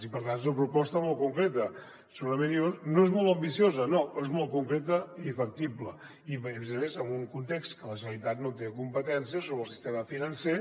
i per tant és una proposta molt concreta no és molt ambiciosa no però és molt concreta i facti·ble i a més a més en un context en què la generalitat no té competències sobre el sistema financer